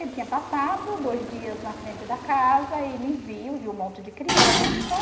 Ele tinha passado dois dias na frente da casa e me viu, viu um monte de criança.